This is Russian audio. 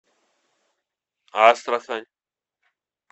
астрахань